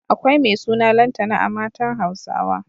Akwai mai suna Lantana a matan Hausawa.